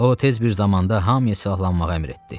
O tez bir zamanda hamıya silahlanmağa əmr etdi.